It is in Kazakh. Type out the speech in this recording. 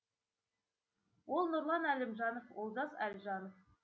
ол нұрлан әлімжанов олжас альжанов